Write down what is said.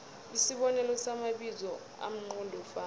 isibonelo samabizo amqondofana